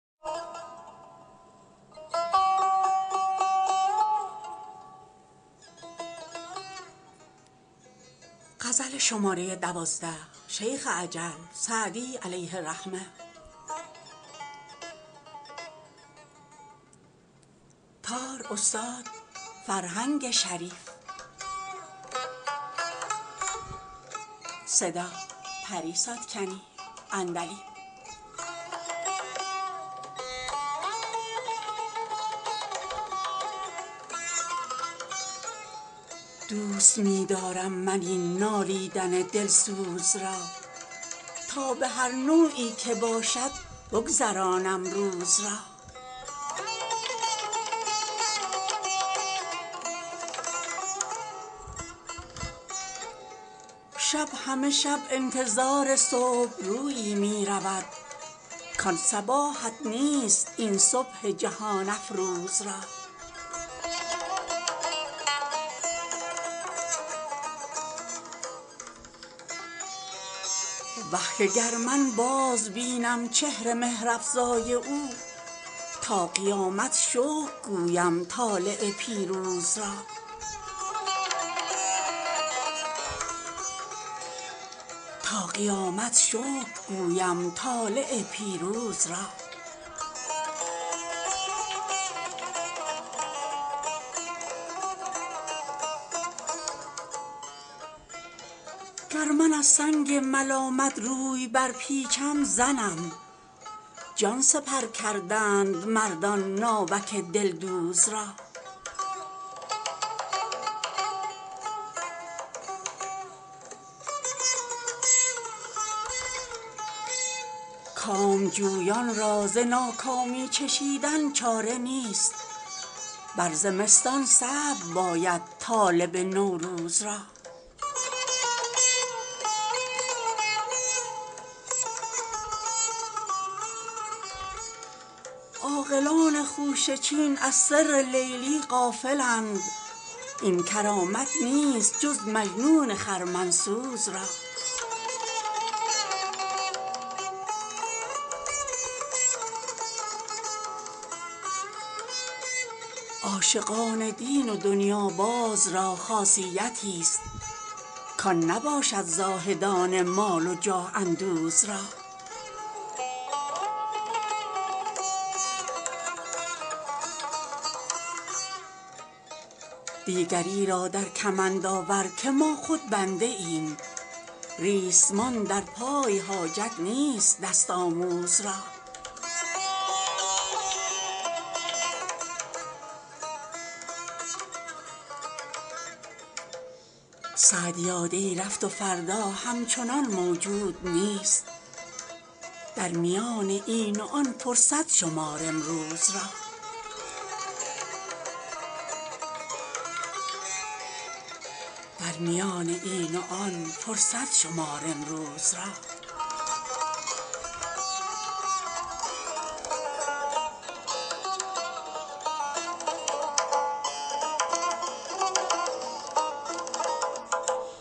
دوست می دارم من این نالیدن دلسوز را تا به هر نوعی که باشد بگذرانم روز را شب همه شب انتظار صبح رویی می رود کان صباحت نیست این صبح جهان افروز را وه که گر من بازبینم چهر مهرافزای او تا قیامت شکر گویم طالع پیروز را گر من از سنگ ملامت روی برپیچم زنم جان سپر کردند مردان ناوک دلدوز را کامجویان را ز ناکامی چشیدن چاره نیست بر زمستان صبر باید طالب نوروز را عاقلان خوشه چین از سر لیلی غافلند این کرامت نیست جز مجنون خرمن سوز را عاشقان دین و دنیاباز را خاصیتیست کان نباشد زاهدان مال و جاه اندوز را دیگری را در کمند آور که ما خود بنده ایم ریسمان در پای حاجت نیست دست آموز را سعدیا دی رفت و فردا همچنان موجود نیست در میان این و آن فرصت شمار امروز را